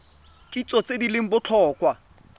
kitso tse di leng botlhokwa